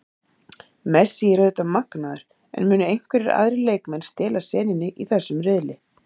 Messi er auðvitað magnaður, en munu einhverjir aðrir leikmenn stela senunni í þessum riðli?